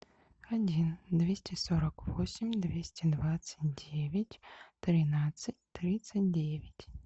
один двести сорок восемь двести двадцать девять тринадцать тридцать девять